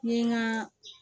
N ye n ka